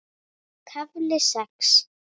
KAFLI SEX